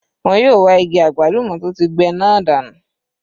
Wọ́n yóò ge igi àgbálùmọ́ tó ti gbẹ náà dànù.